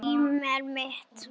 Emil minn.